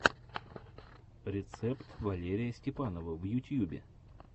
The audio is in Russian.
рецепт валерия степанова в ютьюбе